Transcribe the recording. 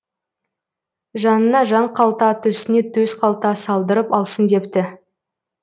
жанына жан калта төсіне төс қалта салдырып алсын депті